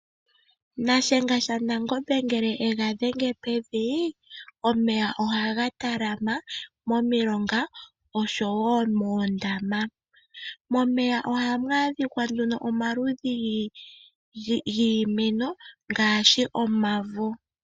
Nashenga shaNangombe ngele ega dhenge pevi, omeya ohaga talama momilonga oshowoo moondama. Momeya ohamu adhika nduno omaludhi giimeno ngaashi omavo.